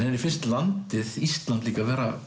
henni finnst landið Ísland líka vera